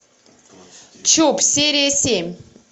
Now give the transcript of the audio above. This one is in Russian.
чоп серия семь